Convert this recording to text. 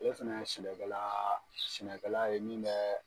Ale fɛnɛ ye sɛbɛkɛlaa sɛnɛkɛla ye min bɛ